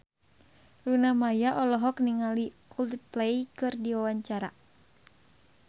Luna Maya olohok ningali Coldplay keur diwawancara